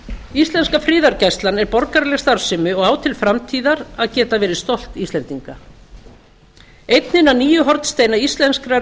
íslenska friðargæslan er borgaraleg starfsemi og á til framtíðar að verða stolt íslendinga einn hinna nýju hornsteina íslenskrar